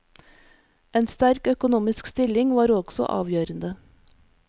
En sterk økonomisk stilling var også avgjørende.